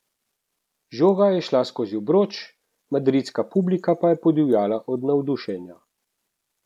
Žoga je šla skozi obroč, madridska publika pa je podivjala od navdušenja.